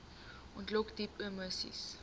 ontlok diep emoseis